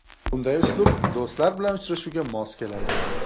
Bunday uslub do‘stlar bilan uchrashuvga mos keladi.